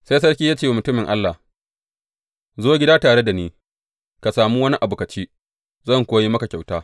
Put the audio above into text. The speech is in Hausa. Sai sarki ya ce wa mutumin Allah, Zo gida tare da ni, ka sami wani abu ka ci, zan kuwa yi maka kyauta.